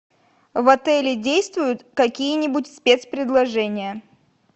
в отеле действуют какие нибудь спецпредложения